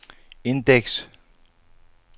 indeks